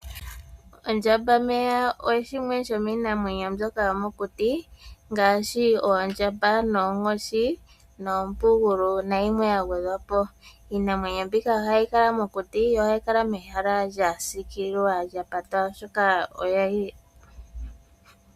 Ondjambameya oyo shimwe shomii namwenyo mbyoka hayi kala mokuti ngashi oondjamba, oonkoshi noompugulu nayimwe ya gwedhwapo. Iinamwenyo mbika ohayi kala mokuti yo ohayi kala yili mehala lya sikililwa lyapata.